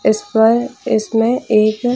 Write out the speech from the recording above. जिस पर इसमें एक --